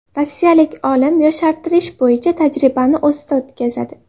Rossiyalik olim yoshartirish bo‘yicha tajribani o‘zida o‘tkazadi.